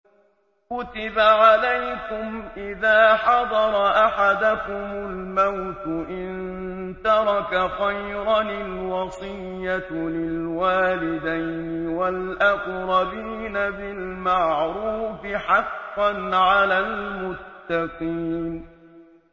كُتِبَ عَلَيْكُمْ إِذَا حَضَرَ أَحَدَكُمُ الْمَوْتُ إِن تَرَكَ خَيْرًا الْوَصِيَّةُ لِلْوَالِدَيْنِ وَالْأَقْرَبِينَ بِالْمَعْرُوفِ ۖ حَقًّا عَلَى الْمُتَّقِينَ